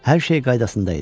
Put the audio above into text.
Hər şey qaydasında idi.